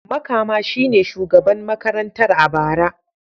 Makama shi ne shugaban makarantar a bara.